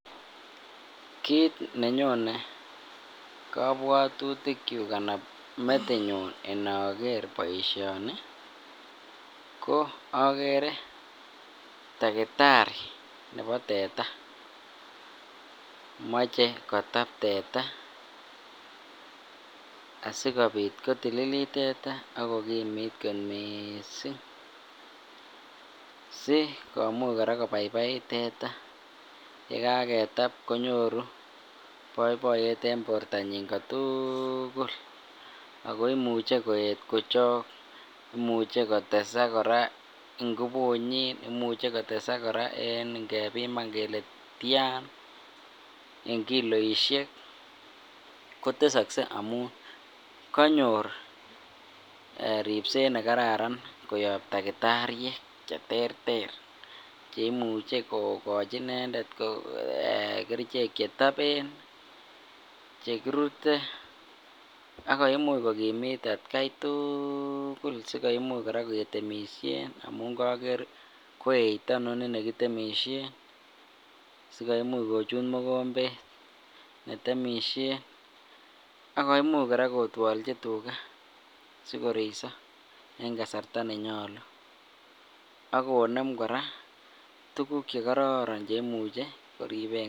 Kiit ne nyone kobwotutikyuk anan metinyun inoker boishoni ko agere takitari nepo teta ,moche kotap teta asikobiit kotililit teta ak kokimiit kot mising si komuch kora kobaibait teta yekaketap konyoru boiboiyet en bortanyin kotukul ako imuche koet kora kochok imuche kotesak kora inkubunyin imuche kotesak kora inkebiman kelee tian en kiloisiek ,kotesoksee amun konyor ribset nekararan koyob takitariek che terter che imuche kogochi inendet kerichek che topen che kirute ak komuch kokimit atkai tukul si koimuch kora ketemisien amun koker ko eito inoni ne kitemisien si komuch kochut mokombet kitemisien ak komuch kora kotwolchi tuga si koroisi en kasarta nenyolu ak konem kora tukuk che kororon che imuche koribenkee.